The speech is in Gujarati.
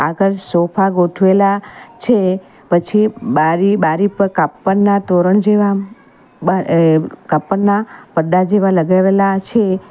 આગળ સોફા ગોઠવેલા છે પછી બારી બારી પર કાપડના તોરણ જેવા બા અહ કાપડના પડદા જેવા લગાવેલા છે.